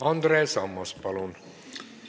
Andres Ammas, palun!